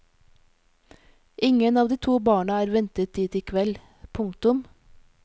Ingen av de to barna er ventet dit i kveld. punktum